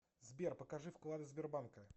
сбер покажи вклады сбербанка